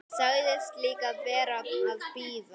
Sagðist líka vera að bíða.